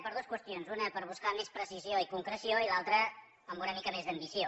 per dues qüestions una per buscar més precisió i concreció i l’altra amb una mica més d’ambició